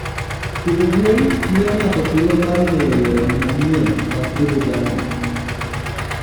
Pidho gwen miyo ng'ato thuolo mar ng'eyo yore manyien mag pidho jamni.